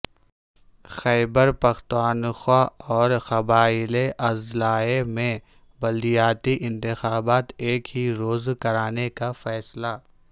خیبرپختونخوا اورقبائلی اضلاع میں بلدیاتی انتخابات ایک ہی روز کرانے کا فیصلہ